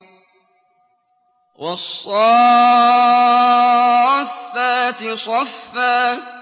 وَالصَّافَّاتِ صَفًّا